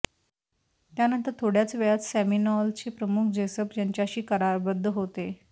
त्यानंतर थोड्याच वेळात सेमिनोलचे प्रमुख जेसप यांच्याशी करारबद्ध होते